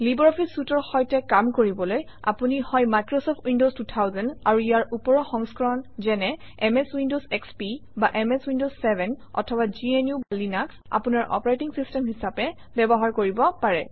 LibreOffice suite ৰ সৈতে কাম কৰিবলৈ আপুনি হয় মাইক্ৰচফ্ট উইণ্ডৱছ 2000 আৰু ইয়াৰ ওপৰৰ সংস্কৰণ যেনে এমএছ উইণ্ডৱছ এসপি বা এমএছ উইণ্ডৱছ 7 অথবা gnuলিনাস আপোনাৰ অপাৰেটিং চিষ্টেম হিচাপে ব্যৱহাৰ কৰিব পাৰে